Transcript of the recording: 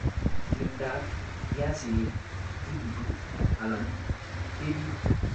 Timdab piasinik kitutu alan kebit.